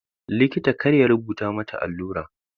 Likita kar ya rubuta mata allura.